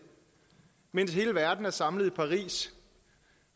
mens hele verden er samlet i paris